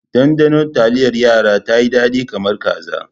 Ɗanɗanon taliyar yara tayi dadi kamar kaza.